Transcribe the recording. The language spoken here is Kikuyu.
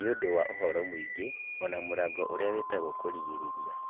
Nĩ ũndũ wa ũhoro mũingĩ, ona mũrango ũria wĩtagwo kũrigĩrĩria